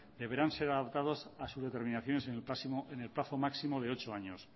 deberán ser adaptados a su determinación en el plazo máximo de ocho años